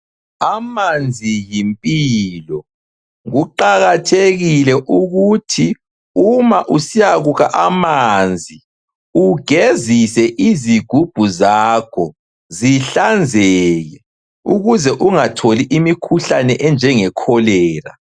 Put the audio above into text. Amanzi yimpilo. Kuqakathekile ukuthi uma usiyakukha amanzi, ugezise izigubhu zakho zihlanzeke ukuze ungatholi imikhuhlane enjenge Kholera.